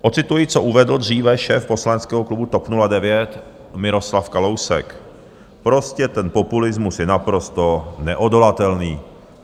Ocituji, co uvedl dříve šéf poslaneckého klubu TOP 09 Miroslav Kalousek: "Prostě ten populismus je naprosto neodolatelný."